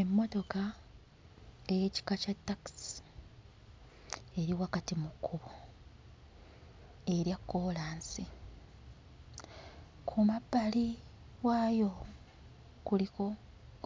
Emmotoka ey'ekika kya takisi eri wakati mu kkubo erya kkoolansi. Ku mabbali waayo kuliko